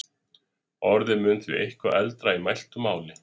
Orðið mun því eitthvað eldra í mæltu máli.